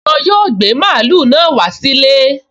Wọn yóò gbé mààúlù náà wá sí ilé